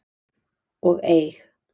og eig.